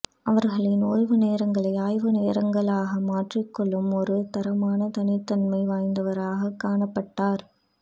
அவரின் ஓய்வு நேரங்களை ஆய்வு நேரங்களாக மாற்றிக்கொள்ளும் ஒரு தரமான தனித்தன்மை வாய்ந்தவராக காணப் பட்டார்